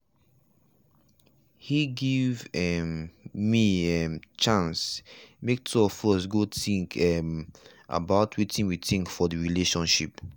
he give um me um chance make two of us go think um about wetin we want for the relationship.